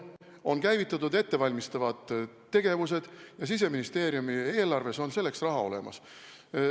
On käivitatud ettevalmistavad tegevused ja Siseministeeriumi eelarves on selleks raha olemas.